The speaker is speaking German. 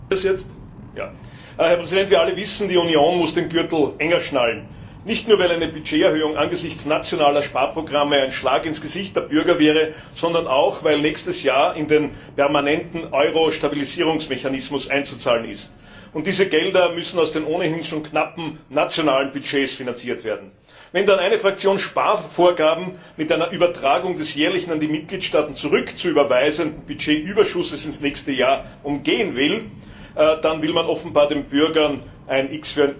Herr Präsident! Wie wir alle wissen, muss die Union den Gürtel enger schnallen. Nicht nur, weil eine Budgeterhöhung angesichts nationaler Sparprogramme ein Schlag ins Gesicht der Bürger wäre, sondern auch, weil nächstes Jahr in den permanenten Euro Stabilisierungsmechanismus einzuzahlen ist. Und diese Gelder müssen aus den ohnehin schon knappen nationalen Budgets finanziert werden. Wenn dann eine Fraktion Sparvorgaben mit einer Übertragung des jährlichen an die Mitgliedstaaten zurückzuüberweisenden Budgetüberschusses ins nächste Jahr umgehen will, dann will man offenbar den Bürgern ein X für ein U vormachen.